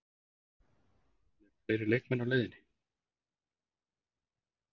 En eru fleiri leikmenn á leiðinni?